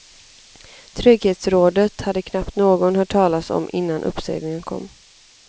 Trygghetsrådet hade knappt någon hört talas om innan uppsägningen kom.